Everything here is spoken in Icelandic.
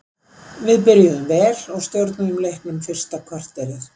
Við byrjuðum vel og stjórnuðum leiknum fyrsta korterið.